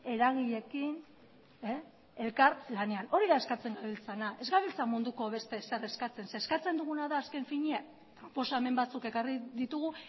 eragileekin elkarlanean hori da eskatzen gabiltzana ez gabiltza munduko beste ezer eskatzen eskatzen duguna da azken finean proposamen batzuk ekarri ditugu